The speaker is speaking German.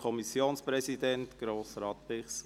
Kommissionspräsident der FiKo.